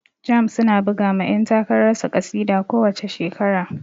Jamb su na buga ma yan takarar su ƙasida ko wace shekara